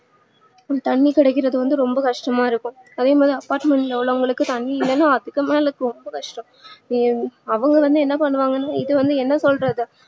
தண்ணீ கிடைக்கிறது வந்து ரொம்ப கஷ்டமா இருக்கும் அதேமாதிரி apartment ல இருக்கிறவங்களுக்கு தண்ணீ இல்லன்னு அதுக்குமேல ரொம்ப கஷ்டம் ஆஹ் அவங்க வந்து என்ன பண்ணுவாங்கனு சொல்லிட்டு என்ன சொல்றது